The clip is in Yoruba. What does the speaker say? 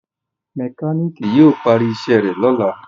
mekaniki yíò pari iṣé rẹ lọla